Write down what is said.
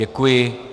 Děkuji.